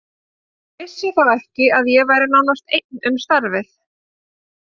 Ég vissi þá ekki að ég væri nánast einn um starfið.